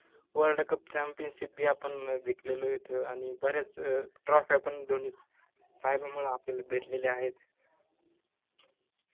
worldcupchampionship बी आपन अं जिकलेलोय त आनि बऱ्याच अं trophy फ्या पन धोनी साहेबामुळं आपल्याला भेटलेल्या आहेत